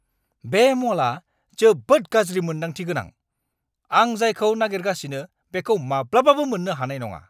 बे म'लआ जोबोद गाज्रि मोन्दांथि गोनां! आं जायखौ नागिरगासिनो बेखौ माब्लाबाबो मोन्नो हानाय नङा!